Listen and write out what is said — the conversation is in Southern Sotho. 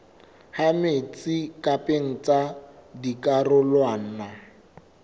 ha metsi pakeng tsa dikarolwana